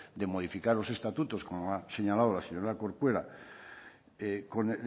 de modificar los estatutos como ha señalado la señora corcuera de